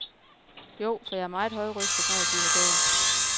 Jo, for jeg er meget højrøstet, når jeg bliver gal.